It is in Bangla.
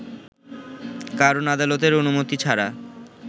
কারণ আদালতের অনুমতি ছাড়া